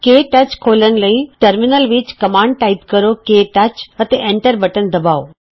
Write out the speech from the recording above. ਕੇ touch ਖੋਲ੍ਹਣ ਲਈ terminal ਵਿੱਚ ਕਮਾਂਡ ਟਾਈਪ ਕਰੋ160 ਕੇ ਟੱਚ ਅਤੇ ਐਂਟਰ ਬਟਨ ਦਬਾਉ